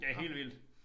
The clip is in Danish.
Ja helt vildt